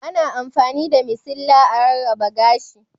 Ana amfani da masilla a rarraba gashi.